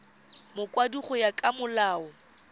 mokwadisi go ya ka molao